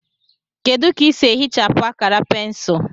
Kedu ka ị sị ehichapụ akara pensụl